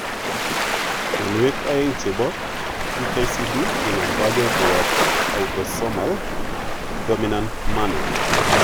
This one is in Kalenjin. Mionwek oeng che chepo MKCD kinomdoge koyop autosomal dominant manner.